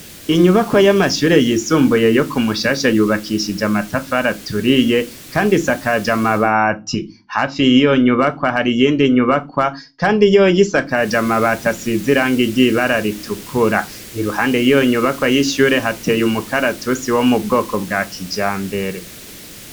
Inyubakwa y'amashure yisumbuye yo ku Mushasha yubakishije amatafari aturiye kandi isakaje amabati hafi yiyo nyubakwa hari iyindi nyubakwa kandi yoyo isakaje amabati asize iranga ry'ibara ritukura. Iruhande y'iyo nyubakwa y'ishyure hateye umukaratusi wo mu bwoko bwa kijambere.